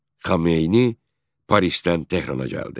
Xomeyni Parisdən Tehrana gəldi.